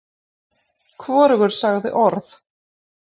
Hvorugur sagði orð.